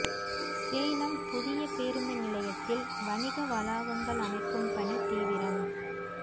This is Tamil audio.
சேலம் புதிய பேருந்து நிலையத்தில் வணிக வளாகங்கள் அமைக்கும் பணி தீவிரம்